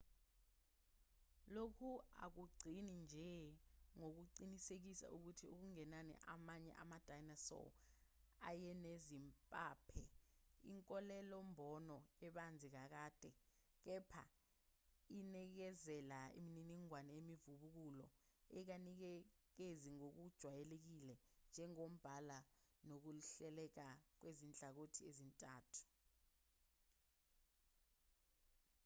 lokhu akugcini nje ngokuqinisekisa ukuthi okungenani amanye ama-dinosaur ayenezimpaphe inkolelo-mbono ebanzi kakade kepha inikezela imininingwane imivubukulo engayinikezi ngokujwayelekile njengombala nokuhleleka kwezinhlangothi ezintathu